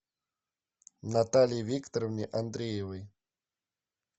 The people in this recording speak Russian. наталье викторовне андреевой